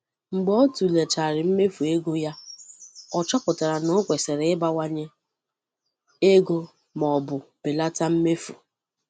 Mgbe ọ tụleghachiri mmefu ego ya, O chọpụtara na ọ kwesịrị ịbawanye ego ma ọ bụ belata mmefu.